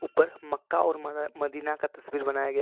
मक्का और मद मदीना का तस्वीर बनाया गया--